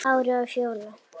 Kári og Fjóla.